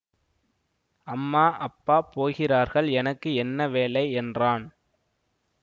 அம்மா அப்பா போகிறார்கள் எனக்கு என்ன வேலை என்றான்